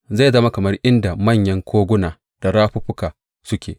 Zai zama kamar inda manyan koguna da rafuffuka suke.